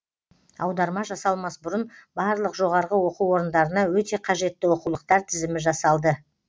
аударма жасалмас бұрын барлық жоғарғы оқу орындарына өте қажетті оқулықтар тізімі жасалды